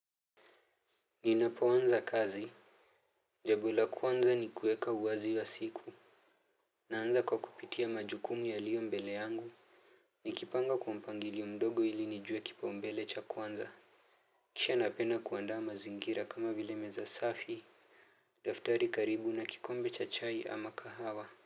Ninapoanza kazi jambo la kwanza ni kuweka uwazi wa siku. Naanza kwa kupitia majukumu yaliyo mbele yangu. Nikipanga kwa mpangilio mdogo ili nijue kipaumbele cha kwanza kisha napenda kuandaa mazingira kama vile meza safi. Daftari karibu na kikombe cha chai ama kahawa.